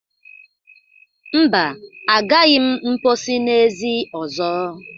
Mba, agaghi m mposi n'ezi ọzọ.